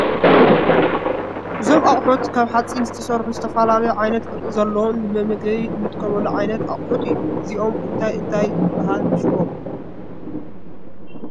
እዞም ኣቁሑት ካብ ሓፂን ዝተስርሑ ዝተፍላለይ ዓይንትን ቅርፂ ዘልዎም ንመመግቢ እንጥቅመሉ ዓይንት ኣቁሑት እዩ እዚኦም እንታይ እንታይ ይብሃል ሹሙ ?